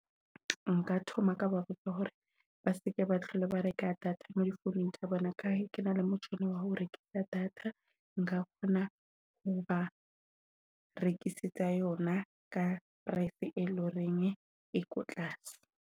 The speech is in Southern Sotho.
Nka thoma ka ba botsa hore ba se ke batle ba reka data mo founung tsa bona. Ka he kena le motjhini wa ho rekisa data nka kgona ho ba rekisetsa yona ka price, e leng horeng e ko tlase.